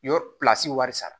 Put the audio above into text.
Yɔrɔ pilasi wari sara